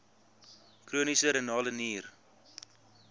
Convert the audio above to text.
chroniese renale nier